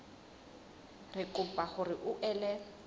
re kopa hore o ele